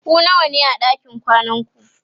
ku nawa ne a ɗakin kwanan ku?